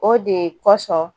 O de kosɔn